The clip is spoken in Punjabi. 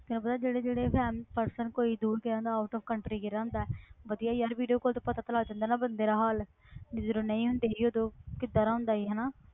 ਤੈਨੂੰ ਪਤਾ ਜਿਹੜੇ ਜਿਹੜੇ family person ਕੋਈ ਦੂਰ ਗਿਆ ਹੁੰਦਾ out of country ਗਿਆ ਹੁੰਦਾ ਵਧੀਆ ਯਾਰ video call ਤੋਂ ਪਤਾ ਤਾਂ ਲੱਗ ਜਾਂਦਾ ਨਾ ਬੰਦੇ ਦਾ ਹਾਲ ਵੀ ਜਦੋਂ ਨਹੀਂ ਹੁੰਦੇ ਸੀ ਉਦੋਂ ਕਿੱਦਾਂ ਦਾ ਹੁੰਦਾ ਸੀ ਹਨਾ